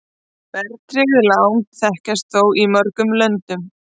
Verðtryggð lán þekkjast þó í mörgum löndum.